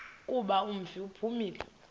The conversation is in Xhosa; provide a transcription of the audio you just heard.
kuba umfi uphumile